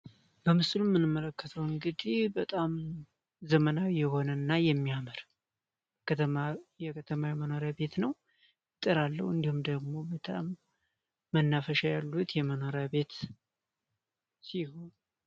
በምስሉ ምንመረከተው እንግዲህ በጣም ዘመናዊ የሆነ እና የሚያመር የከተማዊ የመኖሪያ ቤት ነው። ጥር አለው እንዲሁም ደግሞ መናፈሻ ያሉት የመኖሪያ ቤት ሲሆን።